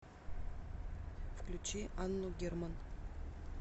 включи анну герман